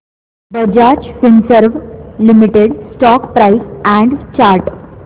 Bajaj Finserv limited stock price and chart